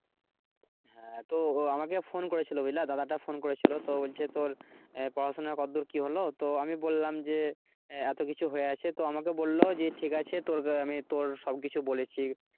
হ্যাঁ তো ও আমাকে phone করে ছিলো বুঝলা দাদাটা phone করেছিলো তো বলছে তোর পড়াশোনা কত দূর কি হলো তো বললাম যে এত কিছু হয়ে আছে তো আমাকে বললো যে ঠিক আছে আমি তোর সব কিছু বলেছি,